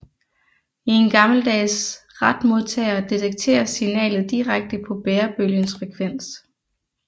I en gammeldags retmodtager detekteres signalet direkte på bærebølgens frekvens